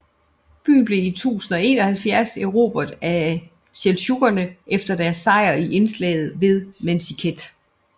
Byen blev i 1071 erobret af seldsjukkerne efter deres sejr i slaget ved Manzikert